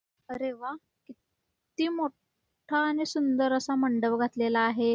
अरे वाह्ह किती सुंदर आणि मोठं मंडप घातलेला आहे.